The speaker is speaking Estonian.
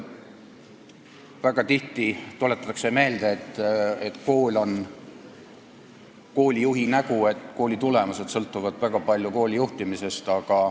Väga tihti tuletatakse meelde, et kool on koolijuhi nägu, et kooli tulemused sõltuvad väga palju kooli juhtimisest.